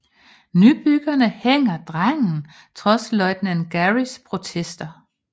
Nybyggerne hænger drengen trods løjtnant Garys protester